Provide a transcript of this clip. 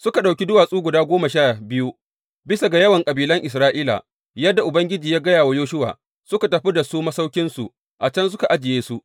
Suka ɗauki duwatsu guda goma sha biyu bisa ga yawan kabilan Isra’ila, yadda Ubangiji ya gaya wa Yoshuwa; suka tafi da su masauƙinsu, a can suka ajiye su.